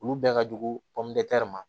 Olu bɛɛ ka jugu ma